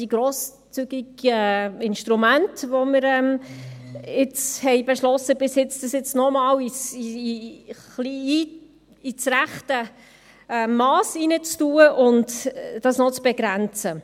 Die grosszügigen Instrumente, die wir bis jetzt beschlossen haben, können wir jetzt noch einmal ins richtige Mass bringen und begrenzen.